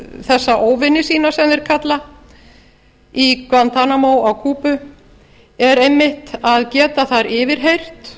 þessa óvini sína sem þeir kalla í guantanamo á kúbu er einmitt að geta þar yfirheyrt